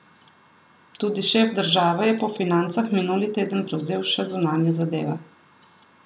Tudi šef države je po financah minuli teden prevzel še zunanje zadeve.